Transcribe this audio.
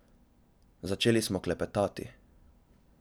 Začeli smo klepetati.